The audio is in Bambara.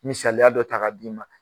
Misaliya dɔ ta k'a d'i ma